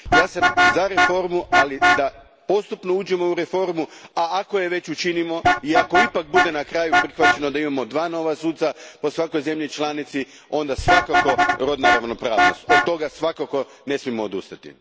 Ja sam za reformu, ali da postupno uđemo u reformu, a ako je već učinimo i ako na kraju bude ipak prihvaćeno da imamo dva nova suca po svakoj zemlji članici, onda svakako rodna ravnopravnost, od toga nikako ne smijemo odustati.